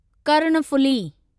Karnaphuli